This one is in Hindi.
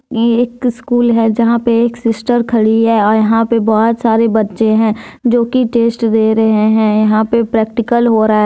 ये एक स्कूल है यहां पे एक सिस्टर खड़ी है और यहां पे बहुत सारे बच्चे हैं जो कि टेस्ट दे रहे हैं यहां पे प्रैक्टिकल हो रहा--